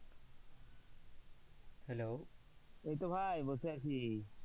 এইতো ভাই বসে আছি।